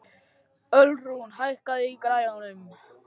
Ölrún, hækkaðu í græjunum.